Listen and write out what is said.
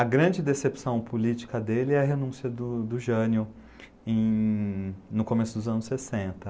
A grande decepção política dele é a renúncia do do Jânio em... no começo dos anos sessenta.